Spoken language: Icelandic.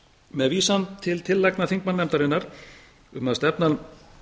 með vísan til tillagna þingmannanefndarinnar um að stefnan